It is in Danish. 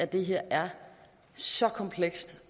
det her er så komplekst